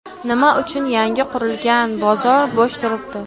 Nima uchun yangi qurilgan bozor bo‘sh turibdi?